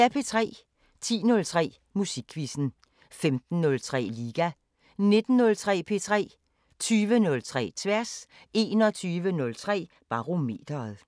10:03: Musikquizzen 15:03: Liga 19:03: P3 20:03: Tværs 21:03: Barometeret